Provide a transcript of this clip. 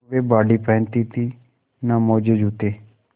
न वे बॉडी पहनती थी न मोजेजूते